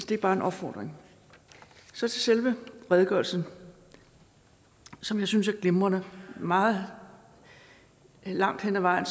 det er bare en opfordring så til selve redegørelsen som jeg synes er glimrende meget langt hen ad vejen